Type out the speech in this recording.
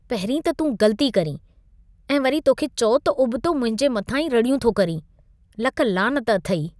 पहिंरीं त तूं ग़लती करीं ऐं वरी तोखे चओ त उबतो मुंहिंजे मथां ई रड़ियूं थो करीं। लख लानत अथई!